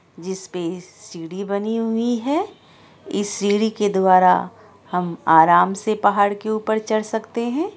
जिस पे इस सीढ़ी बनी हुई है। इस सीढ़ी के द्वारा हम आराम से पहाड़ के उपर चढ़ सकते है।